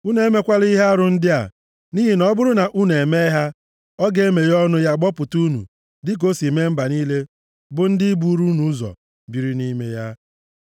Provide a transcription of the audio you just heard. Unu emekwala ihe arụ ndị a, nʼihi na ọ bụrụ na unu emee ha, ọ ga-emeghe ọnụ ya gbọpụta unu, dịka o si mee mba niile bụ ndị buru unu ụzọ biri nʼime ya.